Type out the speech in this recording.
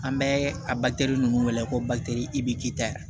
An bɛ a ninnu wele ko i b'i k'i ta ye